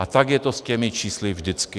A tak je to s těmi čísly vždycky.